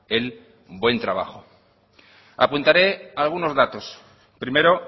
el buen trabajo apuntaré algunos datos primero